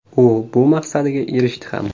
U bu maqsadiga erishdi ham.